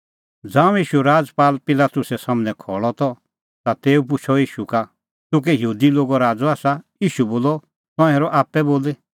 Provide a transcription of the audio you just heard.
ज़ांऊं ईशू राजपाल पिलातुस सम्हनै खल़अ त ता तेऊ पुछ़अ ईशू का तूह कै यहूदी लोगो राज़अ आसा ईशू बोलअ तंऐं हेरअ आप्पै बोली